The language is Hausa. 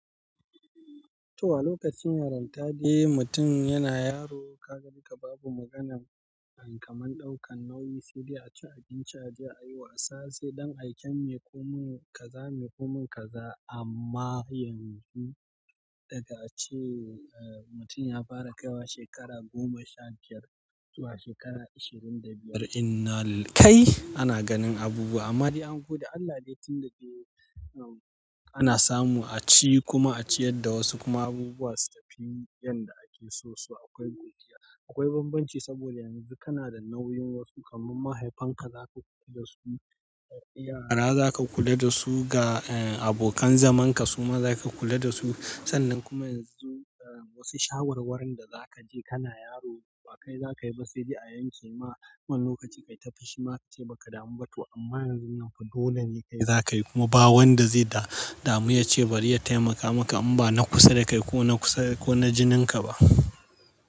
To, a lokacin yaran dai mutum yana yaro kaga duka babu maganan kamar ɗaukan nauyi, sai dai a ci abinci, a je a yi wasa, sai ɗan aiken mai komai kaza, mai komai kaza. Amma yanzu, daga ace mutum ya fara kaiwa shekara goma sha biyar zuwa shekara ishirin da biyar, innalil kai ana ganin abubuwa. Amma dai angode Allah dai run da dai ana samu a ci, kuma a ciyar da wasu, kuma abubuwa su tafi yanda ake so su. Akwai godiya, akwai banbanci saboda yanzu kana da nauyin wasu kamar mahaifanka za ka kula da su, yarinya za ka kula da su ga abokan zamanka su ma za ka kula da su. Sannan kuma yanzu wasu shawarwarin da za ka je kana yaro ba kai za ka yi ba sai dai a yanke ma. Wani lokaci kai ta fishi ma a ce ba ka damu ba to amma yanzu nan dole ne kai za ka yi kuma ba wanda zai damu ya ce bari ya taimaka maka in ba na kusa da kai ko na kusa ko na jininka ba.